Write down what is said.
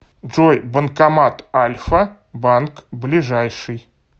джой банкомат альфа банк ближайший